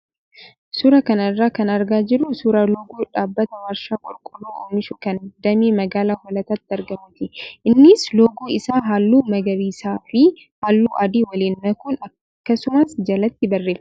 Suuraa kana irraa kan argaa jirru suuraa loogoo dhaabbata warshaa qorqoorroo oomishu kan damee magaalaa hoolataatti argamuuti. Innis loogoo isaa halluu magariisaa fi halluu adii waliin makuun akkasumas jalatti barreeffama qaba.